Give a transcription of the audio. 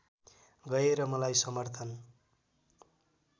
गएर मलाई समर्थन